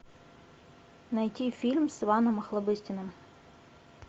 найти фильм с иваном охлобыстиным